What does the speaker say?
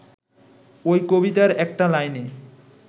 ওই কবিতার একটা লাইনে